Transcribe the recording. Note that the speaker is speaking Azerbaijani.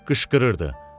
Qışqırırdı.